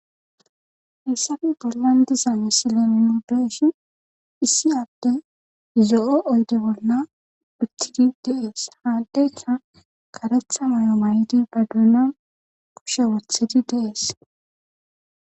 hissafe bollan diza misille nuni beeyshi issi aadde zo7o oyde bolna phittidi dees haaddeyka karetha mayo may7di ba duunan kushe wothidi dees